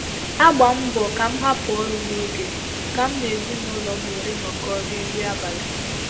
Agba mbọ ka mụ hapụ ọrụ ́n'oge ka m na ezinaụlọ m were nọkọ rie nri abalị